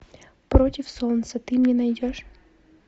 против солнца ты мне найдешь